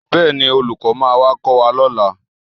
Bẹ́ẹ̀ni, olùkọ́ máa wá kọ́ wa lọ́la